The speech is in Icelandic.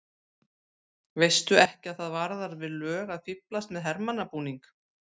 Veistu ekki að það varðar við lög að fíflast með hermannabúning!